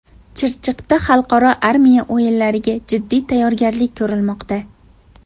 Chirchiqda xalqaro armiya o‘yinlariga jiddiy tayyorgarlik ko‘rilmoqda .